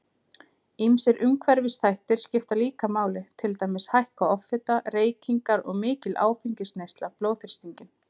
Ýmsir umhverfisþættir skipta líka máli, til dæmis hækka offita, reykingar og mikil áfengisneysla blóðþrýstinginn.